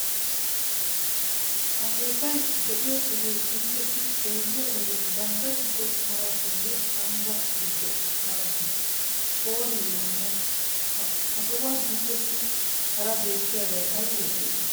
Ha keettay de'iyo sohoy inttessi xeelliyo wode gandda giddo. malatiiyye ambba giddo malatii oonee yootanay? Ha sohuwan inttessi hara beettiyabay aybee aybee?